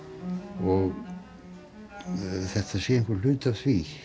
og þetta sé einhver hluti af því